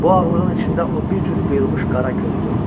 Bu ağlığın içində o bir cüt qıyılmış qara göz görürdü.